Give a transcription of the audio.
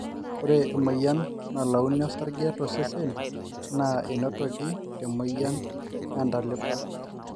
ore emoyian nalauni osarge tosesen na einotoki te moyian ee ntalipa